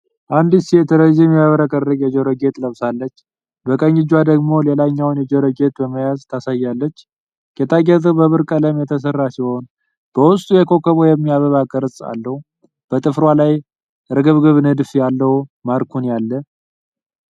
አንዲት ሴት ረዥም የሚያብረቀርቅ የጆሮ ጌጥ ለብሳለች፤ በቀኝ እጇ ደግሞ ሌላኛውን የጆሮ ጌጥ በመያዝ ታሳያለች። ጌጣጌጡ በብር ቀለም የተሰራ ሲሆን በውስጡ የኮከብ ወይም የአበባ ቅርፅ አለው። በጥፍሯ ላይ እርግብግብ ንድፍ ያለው ማኒኩር አለ፡፡